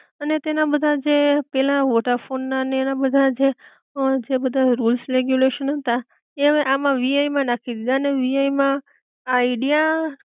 અને તેના બધા જે પેલા વોડાફોન ના ને એના બધા જે અ જે બધા રુલ્સ, રેગ્યુલેશન હતા એ હવે આમાં વીઆઈ નાખી દીધા અને વીઆઈ માં આઇડિયા